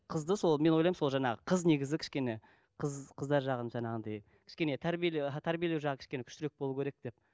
қызды сол мен ойлаймын сол жаңағы қыз негізі кішкене қыз қыздар жағын жаңағындай кішкене тәрбиелеу тәрбиелеу жағы кішкене күштірек болу керек деп